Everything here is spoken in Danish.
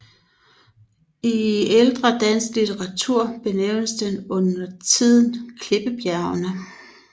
I ældre dansk litteratur benævnes den undertiden Klippebjergene